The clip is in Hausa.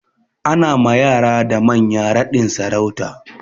Ana ma yara da manya raɗin sarauta.